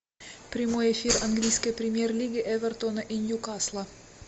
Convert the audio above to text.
прямой эфир английской премьер лиги эвертона и ньюкасла